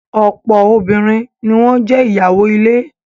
Ọ̀pọ̀ obìnrin ni wọ́n jé ìyàwó ilé.